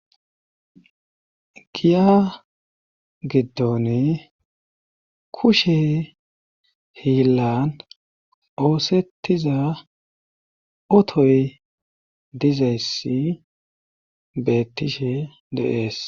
Giya giddoni kushe hiillan oosettiza otoy dizayssi beettishe deees